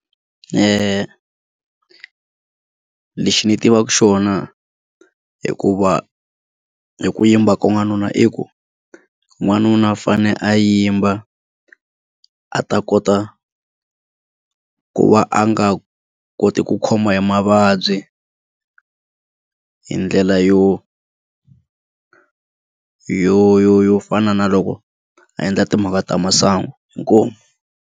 Lexi ndzi tivaka xona hikuva ku yimba ka n'wanuna i ku n'wanuna u fane a yimba a ta kota ku va a nga koti ku khoma hi mavabyi hi ndlela yo yo yo yo yo fana na loko a endla timhaka ta masangu inkomu.